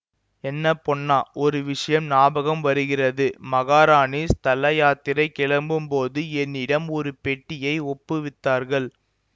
என்ன பொன்னா ஒரு விஷயம் ஞாபகம் வருகிறது மகாராணி ஸ்தல யாத்திரை கிளம்பும்போது என்னிடம் ஒரு பெட்டியை ஒப்புவித்தார்கள்